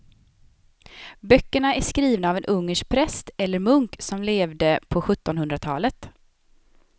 Böckerna är skrivna av en ungersk präst eller munk som levde på sjuttonhundratalet.